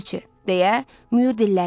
deyə Mühür dilləndi.